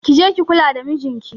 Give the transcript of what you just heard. Ki je ki kula da mijinki.